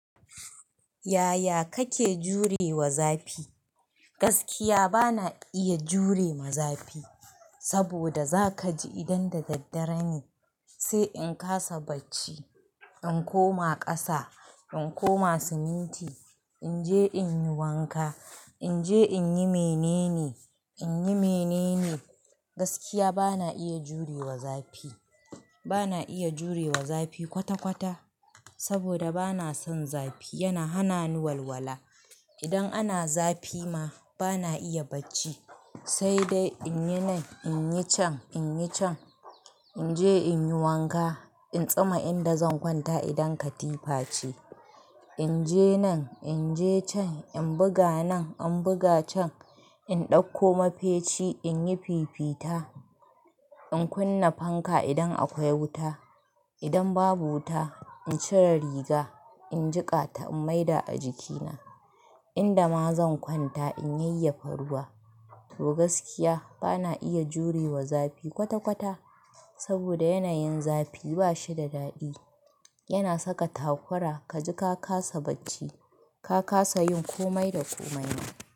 Yaya kake jure wa zafi? Gaskiya bana iya jure ma zafi, saboda zaka ji idan da daddare ne, sai in kasa bacci, in koma ƙasa, in koma siminti, in je in yi wanka, in je in yi mene ne, in yi mene ne. Gaskiya bana iya jure wa zafi. Bana iya jure wa zafi kwata-kwata, saboda bana son zafi yana hana ni walwala. Idan ana zafi ma bana iya bacci, sai dai in yi nan, in yi can, in yi can, in je in yi wanka, in tsama inda zan kwanta idan katifa ce. In je nan, in je can, in buga nan, in buga can, in ɗauko mafeci, in yi fifita, in kunna fanka idan akwai wuta. Idan babu wuta, in cire riga, in jiƙa ta, in maida a jikina inda ma zan kwanta, in yayyafa ruwa. To gaskiya bana iya jure wa zafi kwata-kwata, saboda yanayin zafi ba shi da daɗi. Yana saka takura kaji ka kasa bacci, ka kasa yin komai da komai ne.